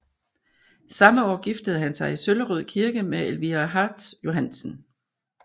Samme år giftede han sig i Søllerød Kirke med Elvira Hartz Johansen